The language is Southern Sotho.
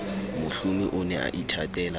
mohlomi o ne a ithatela